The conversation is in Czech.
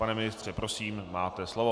Pane ministře, prosím, máte slovo.